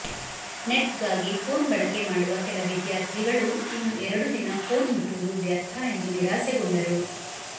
ನೆಟ್ಗಾಗಿ phone ಬಳಕೆ ಮಾಡುವ ಕೆಲ ವಿದ್ಯಾರ್ಥಿಗಳು ಇನ್ನು ಎರಡು ದಿನ ಫೋನ್ ಮುಟ್ಟುವುದು ವ್ಯರ್ಥ ಎಂದ ನಿರಾಸೆಗೊಂಡರು